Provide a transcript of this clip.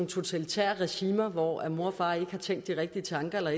totalitære regimer hvor mor og far ikke har tænkt de rigtige tanker eller